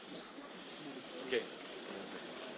Cittadine e cittadini dell'Unione europea,